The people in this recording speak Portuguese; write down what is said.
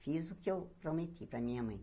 Fiz o que eu prometi para a minha mãe.